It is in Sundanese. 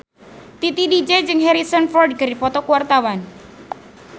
Titi DJ jeung Harrison Ford keur dipoto ku wartawan